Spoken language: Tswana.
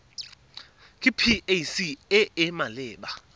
ke pac e e maleba